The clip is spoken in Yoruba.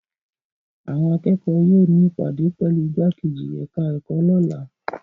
Àwọn akẹ́kọ̀ọ́ yóò ní ìpàdé pẹ̀lú ìgbákejì ẹ̀ka-ẹ̀kọ́ lọ́la.